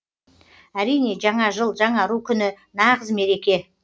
әрине жаңа жыл жаңару күні нағыз мереке